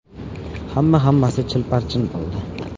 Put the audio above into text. Hamma-hammasi chil-parchin bo‘ldi”.